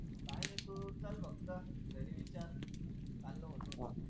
काय नाही तू चल फक्त घरी विचार चाललो म्हणून.